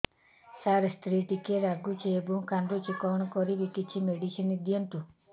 ସାର ସ୍ତ୍ରୀ ଟିକେ ରାଗୁଛି ଏବଂ କାନ୍ଦୁଛି କଣ କରିବି କିଛି ମେଡିସିନ ଦିଅନ୍ତୁ